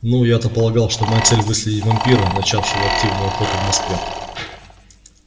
ну я то полагал что моя цель выследить вампира начавшего активную охоту в москве